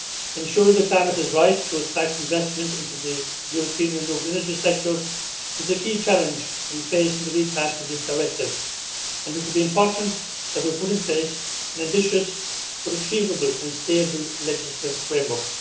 Ensuring the climate is right to attract investment into the European renewable energy sector is the key challenge we face in the recast of this directive. It will be important that we put in place an ambitious, but achievable and stable, legislative framework.